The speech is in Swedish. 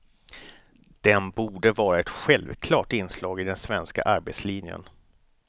Den borde vara ett självklart inslag i den svenska arbetslinjen.